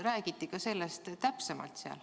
Kas sellest räägiti täpsemalt?